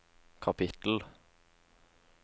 kapittel